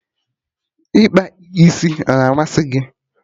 Ịkpa isi a-na amasị gị?